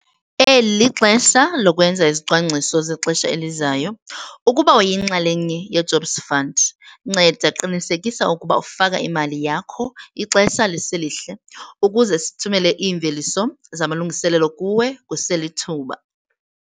Eli lixesha lokwenza izicwangciso zexesha elizayo - ukuba uyinxalenye yeJobs Fund, nceda qiniseka ukuba ufaka imali yakho ixesha liselihle ukuze sithumele iimveliso zamalungiselelo kuwe kuselithuba.